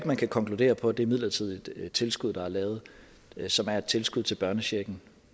man kan konkludere på det midlertidige tilskud der er lavet og som er et tilskud til børnechecken